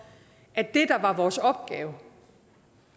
at det der var vores opgave